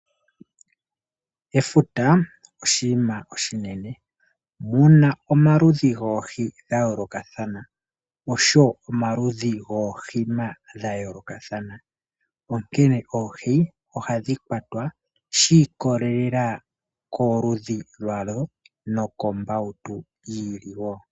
Efuta oshinima oshinene, muna omaludhi goohi dha yoolokathana oshowo omaludhi goohima dhayoolokathana, onkene oohi ohadhi kwatwa shi iikolelela komaludhi gadho noshowo kombautu yi ili woo.